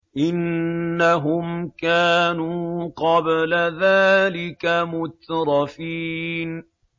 إِنَّهُمْ كَانُوا قَبْلَ ذَٰلِكَ مُتْرَفِينَ